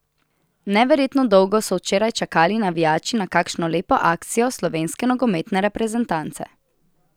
Neverjetno dolgo so včeraj čakali navijači na kakšno lepo akcijo slovenske nogometne reprezentance.